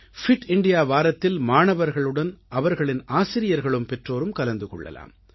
bit India வாரத்தில் மாணவர்களுடன் அவர்களின் ஆசிரியர்களும் பெற்றோரும் கலந்து கொள்ளலாம்